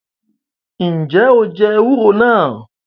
Njẹ o jẹ ewúro náà?